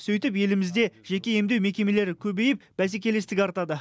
сөйтіп елімізде жеке емдеу мекемелері көбейіп бәсекелестік артады